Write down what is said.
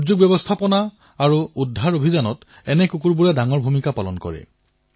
দুৰ্যোগ প্ৰশমন আৰু উদ্ধাৰ অভিযানতো কুকুৰে বৃহৎ ভূমিকা পালন কৰে